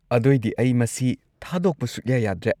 ꯑꯗꯣꯏꯗꯤ ꯑꯩ ꯃꯁꯤ ꯊꯥꯗꯣꯛꯄ ꯁꯨꯛꯌꯥ ꯌꯥꯗ꯭ꯔꯦ꯫